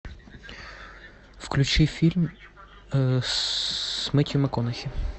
включи фильм с мэттью макконахи